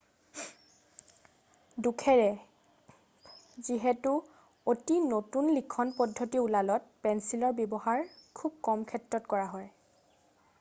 দুখেৰে যিহেতু অতি নতুন লিখন পদ্ধতি ওলালত পেঞ্চিলৰ ব্যৱহাৰ খুব কম ক্ষেত্ৰত কৰা হয়